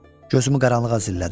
Gözümü qaranlığa zillədim.